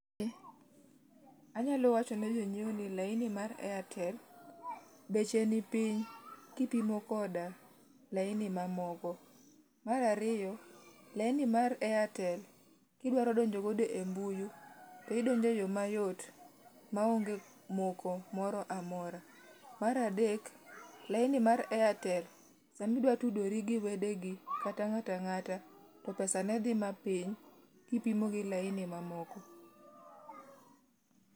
Anyalo wacho ni jonyiewo ni laini mar airtel beche nipiny kipimo koda laini mamoko. Mar ariyo, laini mar airtel kidwaro donjo godo e mbui to idonjo eyo mayot maonge moko moro amora. Mar adek, laini mar airtel sama idwa tudori gi wedeni kata ng'ato ang'ata to pesa ne dhi matin kipimo gi laini mamoko.